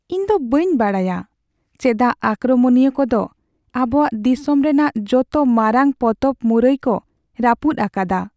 ᱤᱧ ᱫᱚ ᱵᱟᱹᱧ ᱵᱟᱰᱟᱭᱟ ᱪᱮᱫᱟᱜ ᱟᱠᱨᱚᱢᱚᱱᱤᱭᱟᱹ ᱠᱚ ᱫᱚ ᱟᱵᱚᱣᱟᱜ ᱫᱤᱥᱚᱢ ᱨᱮᱱᱟᱜ ᱡᱚᱛᱚ ᱢᱟᱨᱟᱝ ᱯᱚᱛᱚᱵ ᱢᱩᱨᱟᱹᱭ ᱠᱚ ᱨᱟᱹᱯᱩᱫ ᱟᱠᱟᱫᱼᱟ ᱾